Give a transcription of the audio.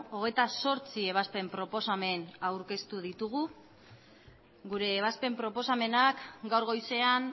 hogeita zortzi ebazpen proposamen aurkeztu ditugu gure ebazpen proposamenak gaur goizean